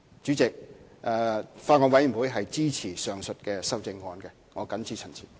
主席，法案委員會支持上述的修正案，我謹此陳辭。